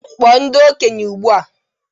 Kpọọ ndị okenye ugbu a!